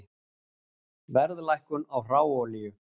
Verðlækkun á hráolíu